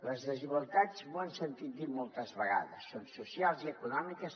les desigualtats m’ho han sentit dir moltes vegades són socials i econòmiques